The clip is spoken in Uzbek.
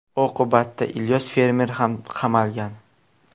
Oqibatda Ilyos fermer ham qamalgan.